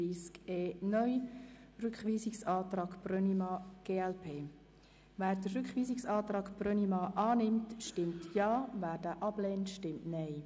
Wer den Rückweisungsantrag Brönnimann annimmt, stimmt Ja, wer diesen ablehnt, stimmt Nein.